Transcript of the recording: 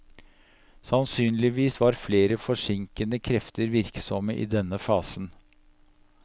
Sannsynligvis var flere forsinkende krefter virksomme i denne fasen.